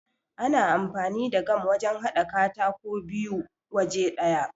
Ana amfani da gam wajan haɗa katako biyu waje ɗaya.